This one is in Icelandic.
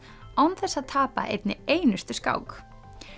án þess að tapa einni einustu skák